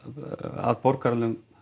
að borgaralegum